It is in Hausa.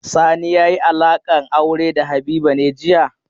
Sani ya yi alaƙar aure da Habiba ne jiya?